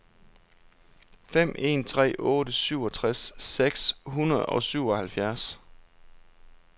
fem en tre otte syvogtres seks hundrede og syvoghalvfjerds